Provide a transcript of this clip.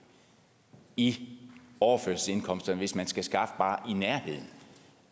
i overførselsindkomsterne hvis man skal skaffe bare i nærheden